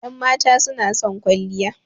Ƴan mata suna son kwalliya